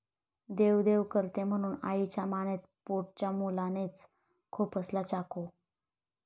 देवदेव करते म्हणून आईच्या मानेत पोटच्या मुलानेच खुपसला चाकू